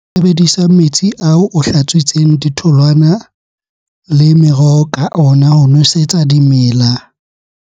Sebedisa metsi ao o hlatswitseng ditholwana le meroho ka ona ho nwesetsa dimela.